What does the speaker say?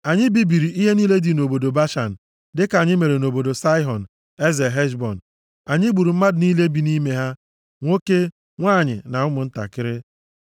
Anyị bibiri ihe niile dị nʼobodo Bashan, dịka anyị mere nʼobodo Saịhọn, eze Heshbọn. Anyị gburu mmadụ niile bi nʼime ha, nwoke, nwanyị, na ụmụntakịrị.